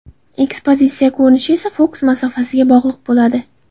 Ekspozitsiya ko‘rinishi esa fokus masofasiga bog‘liq bo‘ladi.